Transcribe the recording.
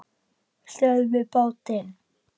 STÖÐVIÐ BÁTINN!